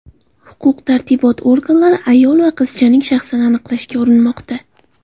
Huquq-tartibot organlari ayol va qizchaning shaxsini aniqlashga urinmoqda.